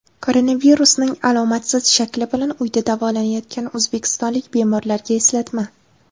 Koronavirusning alomatsiz shakli bilan uyda davolanayotgan o‘zbekistonlik bemorlarga eslatma.